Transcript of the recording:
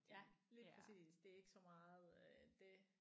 Ja lige præcis det er ikke så meget det